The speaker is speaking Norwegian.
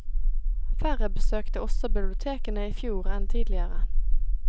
Færre besøkte også bibliotekene i fjor enn tidligere.